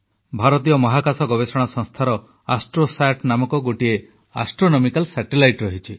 ଭାରତୀୟ ମହାକାଶ ଗବେଷଣା ସଂସ୍ଥା ଇସ୍ରୋର ଆଷ୍ଟ୍ରୋସାଟ ନାମକ ଗୋଟିଏ ଆଷ୍ଟ୍ରୋନମିକାଲ ସାଟେଲାଇଟ ଅଛି